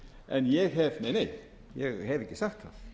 en ég hef nei nei ég hef ekki sagt